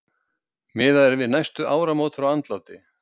Miðað er við næstu áramót frá andláti.